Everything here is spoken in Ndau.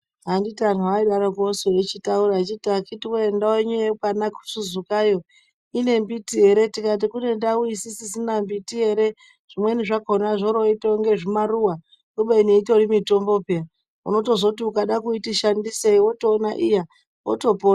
Anditi antu aidaroko su eichitaura eiti akiti woye ndau yenyu yekwanaKuzuzukayo ine mbiti ere tikati kune ndau isisna mbiti ere zvimweni zvakona zvoroita inga zvimaruwa kubeni itori mitombo peyani unozoti ukada kuiti shandisei wizotoona wotopona.